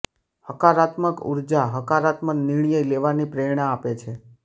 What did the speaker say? હકારાત્મક ઉર્જા હકારાત્મક નિર્ણય લેવાની પ્રેરણા આપે છે